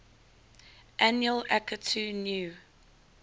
annual akitu new